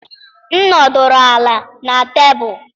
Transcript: M nọdụrụ ala na tebụl.